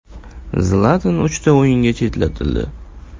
Zlatan uchta o‘yinga chetlatildi.